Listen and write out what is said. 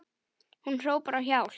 Hún hrópar á hjálp.